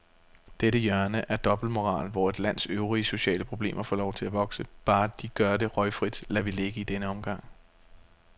Dette hjørne af dobbeltmoral, hvor et lands øvrige sociale problemer får lov at vokse, bare de gør det røgfrit, lader vi ligge i denne omgang.